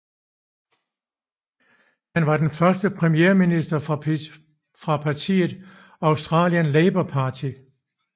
Han var den første premierminister fra partiet Australian Labor Party